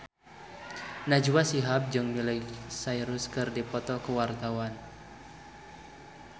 Najwa Shihab jeung Miley Cyrus keur dipoto ku wartawan